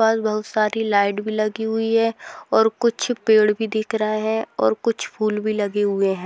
बहुत सारी लाइट भी लगी हुई है और कुछ पेड़ भी दिख रहे है और कुछ फूल भी लगे हुए हैं।